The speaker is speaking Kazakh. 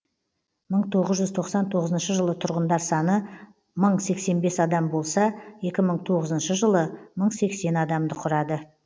мың тоғыз жүз тоқсан тоғызыншы жылы тұрғындар саны мың сексен бес адам болса екі мың тоғызыншы жылы мың сексен адамды құрады